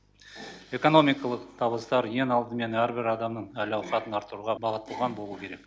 экономикалық табыстар ең алдымен әрбір адамның әл ауқатын арттыруға бағытталған болу керек